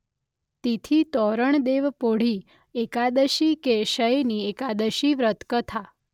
તિથીતોરણદેવપોઢી એકાદશી કે શયની એકાદશી વ્રત કથા